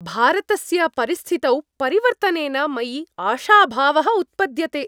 भारतस्य परिस्थितौ परिवर्तनेन मयि आशाभावः उत्पद्यते।